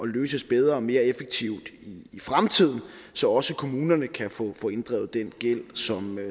løst bedre og mere effektivt i fremtiden så også kommunerne kan få inddrevet den gæld som